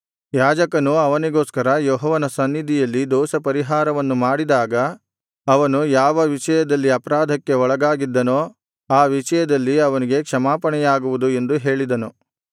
ಯಾಜಕನು ಅವನಿಗೋಸ್ಕರ ಯೆಹೋವನ ಸನ್ನಿಧಿಯಲ್ಲಿ ದೋಷಪರಿಹಾರವನ್ನು ಮಾಡಿದಾಗ ಅವನು ಯಾವ ವಿಷಯದಲ್ಲಿ ಅಪರಾಧಕ್ಕೆ ಒಳಗಾಗಿದ್ದನೋ ಆ ವಿಷಯದಲ್ಲಿ ಅವನಿಗೆ ಕ್ಷಮಾಪಣೆಯಾಗುವುದು ಎಂದು ಹೇಳಿದನು